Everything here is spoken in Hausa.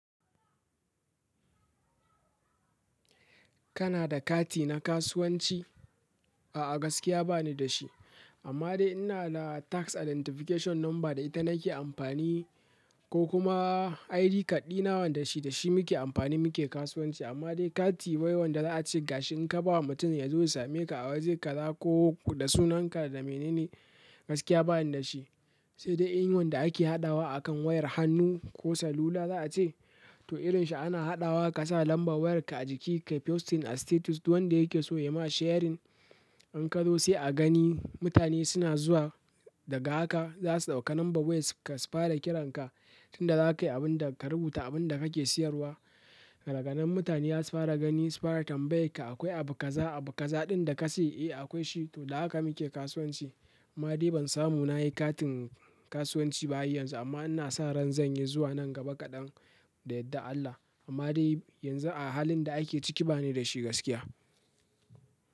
Kana da kati na kasuwanci? A'a, gaskiya ba ni da shi. Amma dai ina da tax identification number da ita nake amfani ko kuma id card ɗina wanda dashi nake amf amma dai kati wai wanda za a ce ga shi in ka ba wa mutum ya zo ya same ka a waje ka za ko da sunanka da menene, gaskiya bani da shi. Sai dai in wanda ake haɗawa akan wayar hannu ko salula za a ce, to irin shi ana haɗawa ka sa lambar wayarka a jiki kai posting a status. Duk wanda yake so ya ma sharing. In ka zo sai a gani mutane suna zuwa daga haka za su ɗauka nomba waya ka su fara kiran ka. Tunda zakai abunda ka rubuta abunda kake siyarwa daganan mutane zasu gani sufara tambayakka akwai abu kaza abu kaza ɗin da kace eh akwai shi to da haka muke kasuwanci. Amma dai ban samu na yi katin kasuwanci ba har yanzu amma ina sa ran zan yi zuwa nan gaba kaɗan da yardar Allah. Amma dai yanzu a halin da ake ciki bani da shi gaskiya.